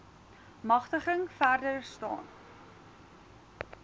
magtiging verder staan